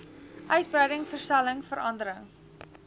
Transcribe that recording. uitbreiding verstelling verandering